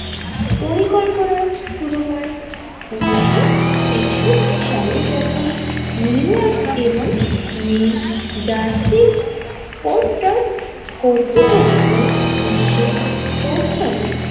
পরিকল্পনা শুরু হয় উনিশশো একষট্টি সালে যখন নিউইয়র্ক এবং নিউ জার্সি ও তার কর্তৃপক্ষ বিশ্বে প্রথম।